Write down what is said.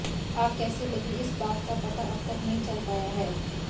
आग कैसे लगी इस बात का पता अब तक नहीं चल पाया है